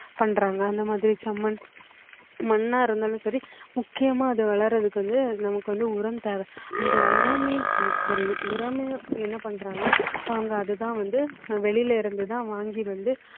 பண்றாங்க அந்த மாதிரி செம்மண் மண்ணா இருந்தாலும் சரி முக்கியமா அது வளரத்துக்கு வந்து நமக்கு வந்து உரம் தேவை அந்த உரமே உரமே என்ன பண்றாங்க அவங்க அதுதான் வந்து வெளியில இருந்து தான் வாங்கி வந்து